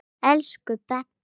Elsku Baddi.